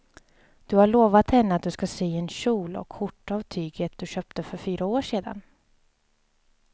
Du har lovat henne att du ska sy en kjol och skjorta av tyget du köpte för fyra år sedan.